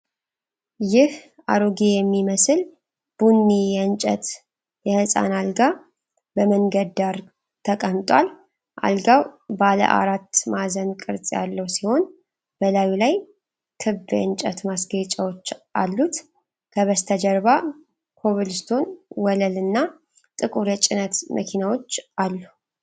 ይህ አሮጌ የሚመስል ቡኒ የእንጨት የሕፃን አልጋ በመንገድ ዳር ተቀምጧል። አልጋው ባለ አራት ማዕዘን ቅርጽ ያለው ሲሆን፣ በላዩ ላይ ክብ የእንጨት ማስጌጫዎች አሉት። ከበስተጀርባ ኮብልስቶን ወለል እና ጥቁር የጭነት መኪናዎች አሉ።